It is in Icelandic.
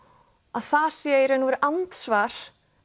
að það sé í raun og veru andsvar